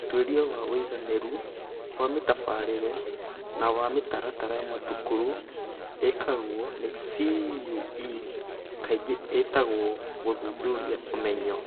Ũtuĩria wa ũigananĩru wa mĩtabarĩre na wa mĩtaratara ya thukuru ĩkagwo nĩ CUE kaingĩ ĩtagwo gũthuthuria ũmenyo.